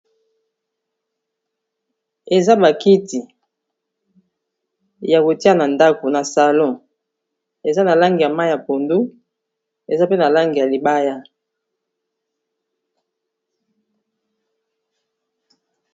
Eza ba kiti ya kotia na ndako na salon eza na langi ya mayi ya pondu, eza pe na langi ya libaya.